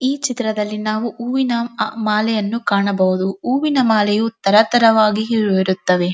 ಈ ಚಿತ್ರದಲ್ಲಿ ನಾವು ಹೂವಿನ ಮಾಲೆಯನ್ನು ಕಾಣಬಹುದು ಹೂವಿನಮಾಲೆಯು ತರತರವಾಗಿ ಇರುತ್ತವೆ.